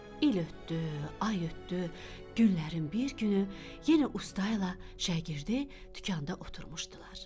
İl ötdü, ay ötdü, günlərin bir günü yenə usta ilə şagirdi dükanda oturmuşdular.